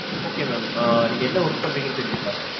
okay mam ஆஹ் நீங்க என்ன work பண்றீங்கன்னு தெரிஞ்சுக்கலாம.